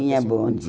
Tinha bonde.